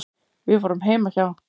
Við vorum heima hjá